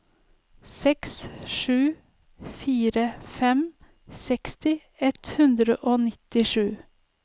seks sju fire fem seksti ett hundre og nittisju